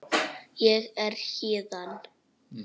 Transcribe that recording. Ég er héðan